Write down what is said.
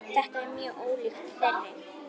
Þetta er mjög ólíkt þeirri